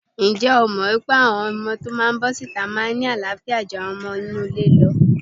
Ǹjẹ́ o mọ̀ pé àwọn ọmọ tó bọ́ síta máa ń ní àááfíà ju àwọn ọmọ inú ilé lọ?